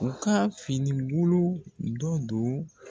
U ka finibolo dɔ don